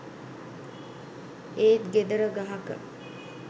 ඒත් ගෙදර ගහක